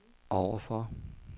overfor